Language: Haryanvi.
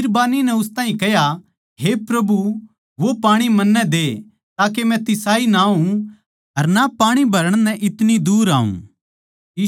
बिरबान्नी नै उस ताहीं कह्या हे प्रभु वो पाणी मन्नै दे ताके मै तिसाई ना होऊँ अर ना पाणी भरण नै इतनी दूर आऊँ